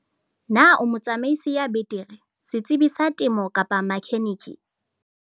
Na o motsamaisi ya betere, setsebi sa temo kapa makheneke?